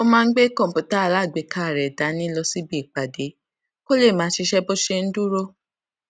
ó máa ń gbé kòǹpútà alágbèéká rè dání lọ síbi ìpàdé kó lè máa ṣiṣé bó ṣe ń dúró